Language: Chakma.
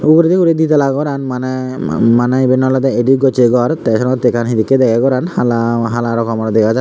uguredi guri ditala goran maneh maneh eban oley edit gocchey gor tey senottey ekka hedekkey degey goran hala hala rongor dega jaar gor.